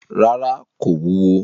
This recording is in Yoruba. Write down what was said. Ràrá, kò wúwo.